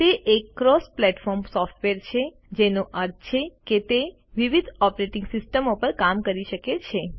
તે એક cross platform software છે જેનો અર્થ છે કે તે વિવિધ ઓપરેટિંગ સિસ્ટમો પર કામ કરી શકે છે